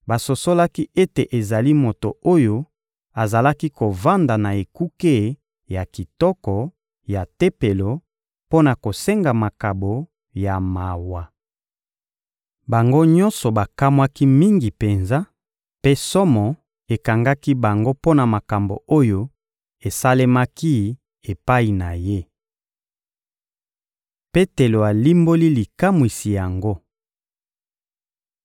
basosolaki ete ezali moto oyo azalaki kovanda na «Ekuke ya kitoko» ya Tempelo mpo na kosenga makabo ya mawa. Bango nyonso bakamwaki mingi penza, mpe somo ekangaki bango mpo na makambo oyo esalemaki epai na ye. Petelo alimboli likamwisi yango